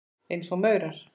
Eins og maurar.